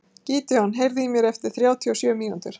Gídeon, heyrðu í mér eftir þrjátíu og sjö mínútur.